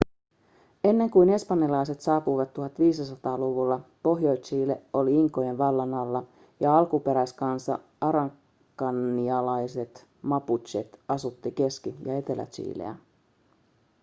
ennen kuin espanjalaiset saapuivat 1500-luvulla pohjois-chile oli inkojen vallan alla ja alkuperäiskansa araucanialaiset mapuchet asutti keski- ja etelä-chileä